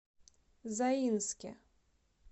заинске